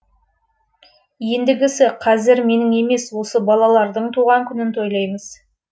ендігісі қазір менің емес осы балалардың туған күнін тойлаймыз